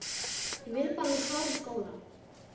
Ég vil bara að þú klárir skólann